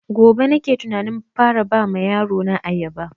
Gobe nake tunanin fara ba wa yaro na ayaba